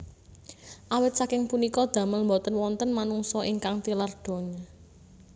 Awit saking punika damel boten wonten manungsa ingkang tilar donya